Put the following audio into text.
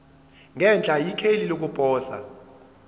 ngenhla ikheli lokuposa